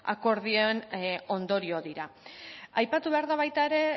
akordioen ondorio dira aipatu behar da baita ere